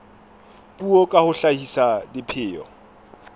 puo ka ho hlahisa dipheo